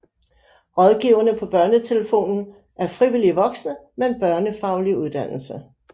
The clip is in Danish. Rådgiverne på BørneTelefonen er frivillige voksne med en børnefaglig uddannelse